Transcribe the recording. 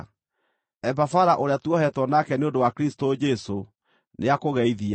Epafara, ũrĩa tuohetwo nake nĩ ũndũ wa Kristũ Jesũ, nĩakũgeithia.